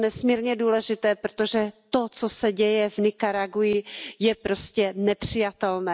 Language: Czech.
Je to nesmírně důležité, protože to, co se děje v Nikaragui, je prostě nepřijatelné.